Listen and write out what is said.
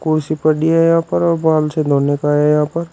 कुर्सी पड़ी है यहां पर और बाल यहां पर।